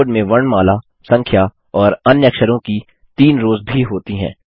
keyboard में वर्णमाला संख्या और अन्य अक्षरों की तीन रोज़ भी होती हैं